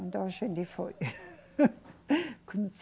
Então a gente foi.